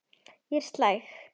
Ég er slæg.